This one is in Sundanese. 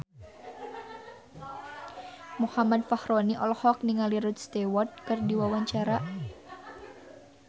Muhammad Fachroni olohok ningali Rod Stewart keur diwawancara